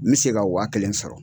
N bɛ se ka wa kelen sɔrɔ.